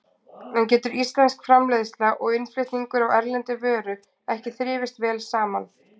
En getur íslensk framleiðsla og innflutningur á erlendri vöru ekki þrifist vel saman?